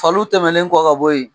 Faliw tɛmɛnen kɔ ka bɔ yen